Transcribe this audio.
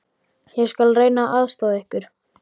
Ég skal reyna að aðstoða ykkur.